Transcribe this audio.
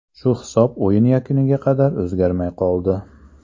Shu hisob o‘yin yakuniga qadar o‘zgarmay qoldi.